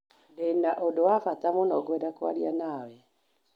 Ndĩ na ũndũ wa bata mũno ngwenda kwaria nawe.